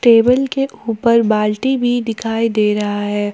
Table के ऊपर बाल्टी भी दिखाई दे रहा है।